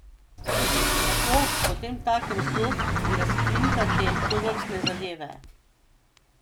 Kako potemtakem sploh razkrinkati tovrstne zadeve?